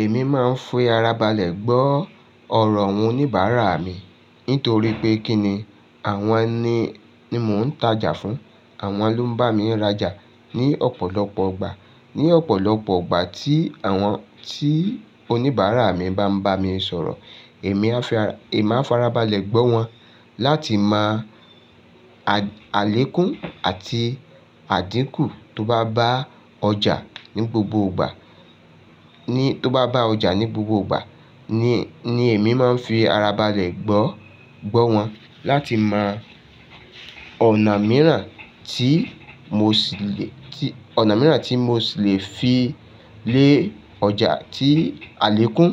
Èmi máa ń fi ara balẹ̀ gbọ́ ọ̀rọ̀ oníbàárà mi nítorí pé kí ni àwọn ni, ni mò ń tajà fún, àwọn ló ń bá mi rajà ní ọ̀pọ̀lọpọ̀ ìgbà. Ní ọ̀pọ̀lọpọ̀ ìgbà tí àwọn, tí oníbàárà mi bá ń bá mi sọ̀rọ̀, èmi áa farabalẹ̀ gbọ́ wọn láti máa àlékún àti àdínkù tó bá bá ọjà ní gbogbo ìgbà. Tó bá bá ọjà ní gbogbo ìgbà ni èmi máa ń fi ara balẹ̀ gbọ́, gbọ́ wọn láti mo ọ̀nà mìíràn tí mo ṣì lè, ọ̀nà mìíràn tí mo ṣì lè fi lé ọjà tí àlékún,